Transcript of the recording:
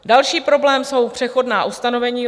Další problém jsou přechodná ustanovení.